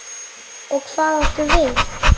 Og hvað áttu við?